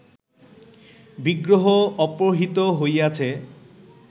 বিগ্রহ অপহৃত হইয়াছে